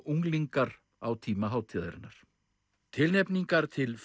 unglingar á tíma hátíðarinnar tilnefningar til